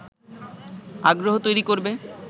আগ্রহ তৈরি করবে